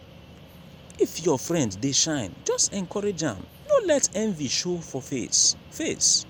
if your friend dey shine just encourage am no let envy show for face. face.